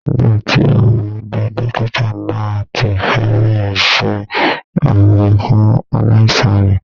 Nígbà tí mo dé, dókítà náà ti fẹ́ bẹ̀rẹ̀ iṣẹ́ abɛ́ fún aláìsàn rẹ̀